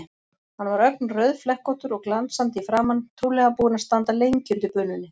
Hann var ögn rauðflekkóttur og glansandi í framan, trúlega búinn að standa lengi undir bununni.